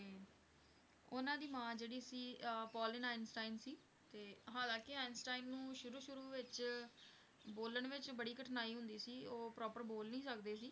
ਉਨ੍ਹਾਂ ਦੀ ਮਾਂ ਜਿਹੜੀ ਸੀ ਅਹ ਪੌਲੀਨ ਆਈਨਸਟਾਈਨ ਸੀ, ਤੇ ਹਾਲਾਂਕਿ ਆਈਨਸਟਾਈਨ ਨੂੰ ਸ਼ੁਰੂ ਸ਼ੁਰੂ ਵਿੱਚ ਬੋਲਣ ਵਿੱਚ ਬੜੀ ਕਠਿਨਾਈ ਹੁੰਦੀ ਸੀ, ਉਹ proper ਬੋਲ ਨਹੀਂ ਸਕਦੇ ਸੀ,